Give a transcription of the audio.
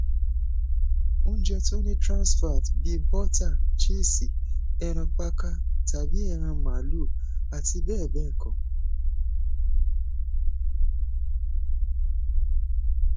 ounjẹ tó ni transfat bíi bọtà chísì ẹran pákà tàbí ẹran máàlúù àti bẹẹ bẹẹ kọ